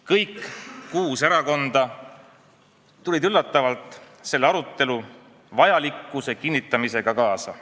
Kõik kuus erakonda tulid üllatavalt selle arutelu vajalikkuse kinnitamisega kaasa.